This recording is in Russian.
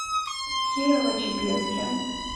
кирово чепецке